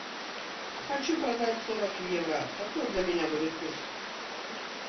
хочу продать сорок евро какой для меня будет курс